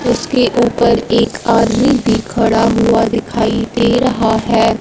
उसके ऊपर एक आदमी भी खड़ा हुआ दिखाई दे रहा है।